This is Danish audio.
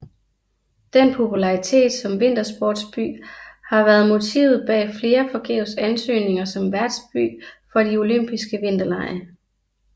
Den popularitet som vintersportsby har været motivet bag flere forgæves ansøgninger som værtsby for de olympiske vinterlege